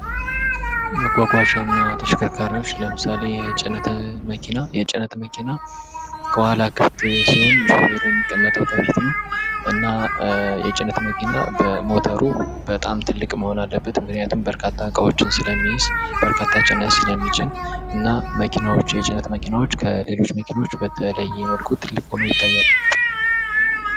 መጓጓዣ እና ተሽከርካሪዎች ለምሳሌ የጭነት መኪና የጭነት መኪና ከኋላ ክፍት ሲሆኑ፤ ቹፌሩ የሚቀመጠው ከፊት ነው። እና የጭነት መኪና በሞተሩ በጣም ትልቅ መሆን አለበት። ምክንያቱም በርካታ እቃዎችን ስለሚይዝ በርካታ ጭነት ስለሚጭን ።እና የጭነት መኪናዎች ከሌሎች ክልሎች በተለየ መልኩ ትልቅ ሆኖ ይታያሉ።